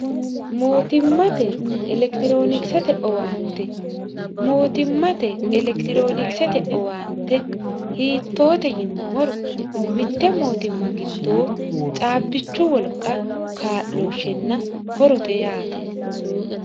mootimmate elekitiroonikisete owaante mootimmate elekitiroonikisete owaante hiittoote yinummoro mitte mootimma giddoo caabbichu wolqa kaa'looshshenna horote yaate